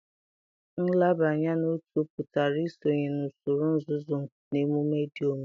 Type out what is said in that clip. Nlabanye n'otu pụtara isonye na usoro nzuzo na emume dị omimi.